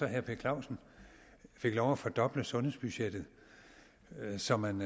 herre per clausen fik lov at fordoble sundhedsbudgettet så man